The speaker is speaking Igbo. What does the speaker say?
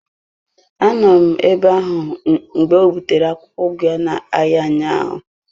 A nọ m ebe ahụ mgbe o butere akwụkwọ ugu ya n'ahịa ụnyaahụ.